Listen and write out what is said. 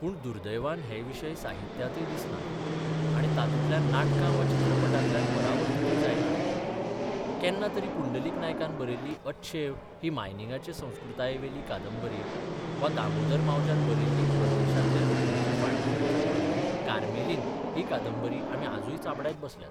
पूण दुर्दैवान हे विशय साहित्यांतय दिसनात आनी तातूंतल्यान नाटकां वा चित्रपटांतल्यान परावर्तितूय जायनात केन्ना तरी पुंडलीक नायकान बरयिल्ली अच्छेव ही मायनिंगाचे संस्कृतायेवेली कादंबरी वा दामोदर मावज्यान बरयिल्ली परदेशांतले नोकरेचे फाटभुंयेचेर बरयिल्ली कार्मेलीन ही कादंबरी आमी आजूय चाबडायत बसल्यात.